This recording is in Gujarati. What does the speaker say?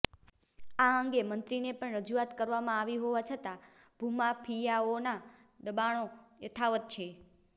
આ અંગે મંત્રીને પણ રજુઆત કરવામાં આવી હોવા છતાં ભૂમાફિયાઓના દબાણો યથાવત છે